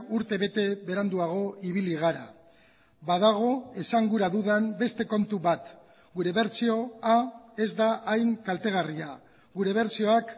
urtebete beranduago ibili gara badago esan gura dudan beste kontu bat gure bertsioa ez da hain kaltegarria gure bertsioak